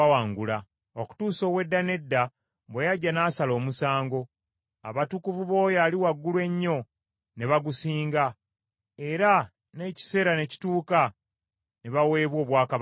okutuusa ow’Edda n’Edda bwe yajja n’asala omusango, abatukuvu b’Oyo Ali Waggulu Ennyo ne bagusinga, era n’ekiseera ne kituuka ne baweebwa obwakabaka.